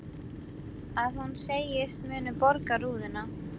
Að hún segist munu borga rúðuna.